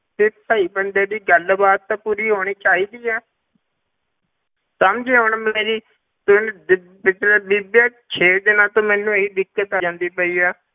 ਤੇ ਭਾਈ ਬੰਦੇ ਦੀ ਗੱਲਬਾਤ ਤਾਂ ਪੂਰੀ ਹੋਣੀ ਚਾਹੀਦੀ ਹੈ ਸਮਝੇ ਹੁਣ ਮੇਰੀ ਤੇ ਪਿ~ ਪਿੱਛਲੇ ਬੀਬੀ ਇਹ ਛੇ ਦਿਨਾਂ ਤੋਂ ਮੈਨੂੰ ਇਹੀ ਦਿੱਕਤ ਆਈ ਜਾਂਦੀ ਪਈ ਹੈ,